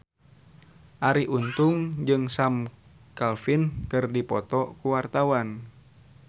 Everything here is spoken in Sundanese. Arie Untung jeung Sam Claflin keur dipoto ku wartawan